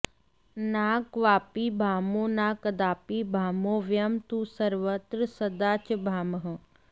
न क्वापि भामो न कदापि भामो वयं तु सर्वत्र सदा च भामः